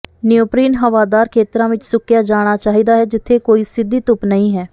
neoprene ਹਵਾਦਾਰ ਖੇਤਰਾਂ ਵਿੱਚ ਸੁੱਕਿਆ ਜਾਣਾ ਚਾਹੀਦਾ ਹੈ ਜਿੱਥੇ ਕੋਈ ਸਿੱਧੀ ਧੁੱਪ ਨਹੀਂ ਹੈ